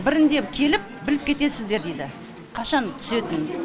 бірінде келіп біліп кетесіздер дейді қашан түсетінін